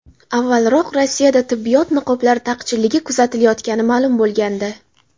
Avvalroq Rossiyada tibbiyot niqoblari taqchilligi kuzatilayotgani ma’lum bo‘lgandi.